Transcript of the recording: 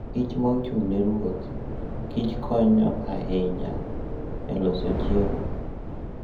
kich ma ochung' ne ruodh kich konyo ahinya e loso chiemo.